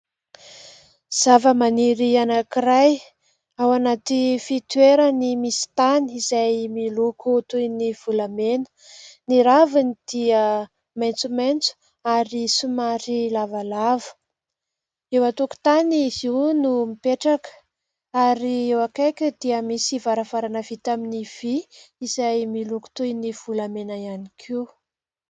Zavamaniry anankiray ao anaty fitoerany misy tany izay miloko toy ny volamena, ny raviny dia maitsomaitso ary somary lavalava eo an-tokotany izy io no mipetraka ary eo akaikiny dia misy varavarana vita amin'ny vy, izay miloko toy ny volamena ihany koa.